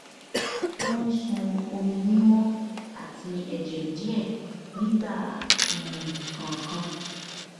o ń sun omi mímọ àti ẹjẹ díẹ nígbà um kan kan